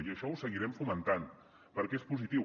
i això ho seguirem fomentant perquè és positiu